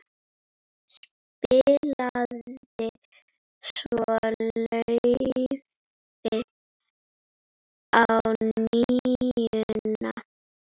Spilaði svo laufi á NÍUNA.